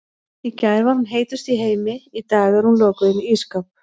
Í gær var hún heitust í heimi, í dag er hún lokuð inni í ísskáp.